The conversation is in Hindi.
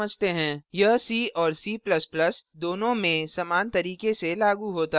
यह c और c ++ दोनों में समान तरीके से लागू होता है